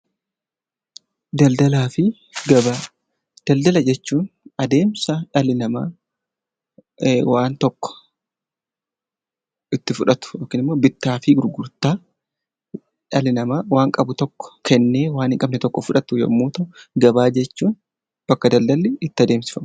Daldala fi gabaa Daldala jechuun adeemsa dhalli namaa itti fudhatu, bittaa fi gurgurtaa dhalli namaa waan qabu kennee waan hin qabne fudhatu yemmuu ta'u, gabaa jechuun bakka daldalli itti adeemsifamu.